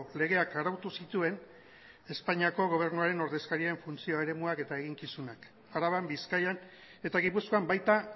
legeak arautu zituen espainiako gobernuarenordezkarien funtzio eremuak eta eginkizunak araban bizkaian eta gipuzkoan baita